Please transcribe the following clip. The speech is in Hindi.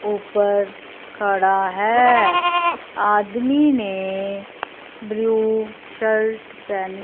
ऊपर खड़ा है आदमी ने ब्लू शर्ट पहनी--